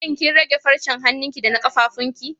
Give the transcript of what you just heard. Shin kin rage farcen hanunki da na ƙafafuwan ki?